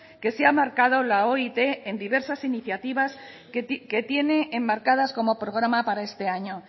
que se ha marcado la oit en diversas iniciativas que tiene enmarcadas como programa para este año